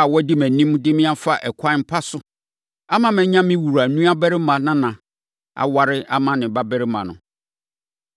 a wadi mʼanim de me afa ɛkwan pa so, ama manya me wura nuabarima nana aware ama ne babarima no.